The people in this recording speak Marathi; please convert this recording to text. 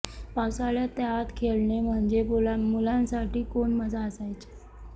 पावसाळ्यात त्यात खेळणे म्हणजे मुलांसाठी कोण मजा असायची